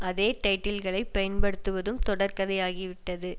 அதே டைட்டில்களை பயன்படுத்துவதும் தொடர்கதையாகிவிட்டது